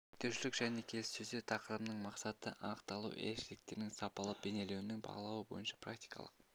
реттелушілік және келіссөздер тақырыбының мақсатты анықталуы ерекшеліктерінің сапалы бейнеленуін бағалау бойынша практикалық